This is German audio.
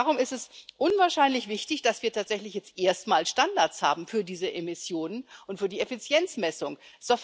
Darum ist es unwahrscheinlich wichtig, dass wir tatsächlich jetzt erstmals Standards für diese Emissionen und für die Effizienzmessung haben.